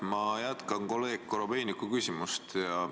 Ma jätkan kolleeg Korobeiniku küsimust.